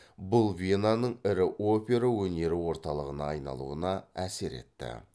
бұл венаның ірі опера өнері орталығына айналуына әсер етті